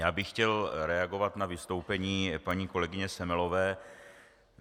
Já bych chtěl reagovat na vystoupení paní kolegyně Semelové.